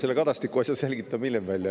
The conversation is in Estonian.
Selle Kadastiku asja selgitame hiljem välja.